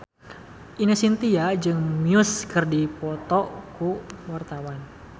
Ine Shintya jeung Muse keur dipoto ku wartawan